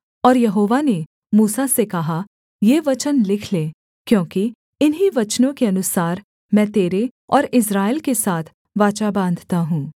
और यहोवा ने मूसा से कहा ये वचन लिख ले क्योंकि इन्हीं वचनों के अनुसार मैं तेरे और इस्राएल के साथ वाचा बाँधता हूँ